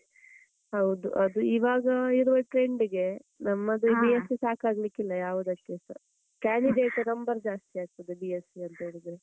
ಹೌದು. ಅದು ಇವಾಗ ಇರುವ trend ಗೆ ನಮ್ಮದು B.sc ಸಾಕಾಗಲಿಕ್ಕಿಲ್ಲ ಯಾವದಕ್ಕೆಸ. candidate number ಜಾಸ್ತಿ ಆಗ್ತದೆ. B.sc ಅಂತ ಹೇಳಿದ್ರೆ.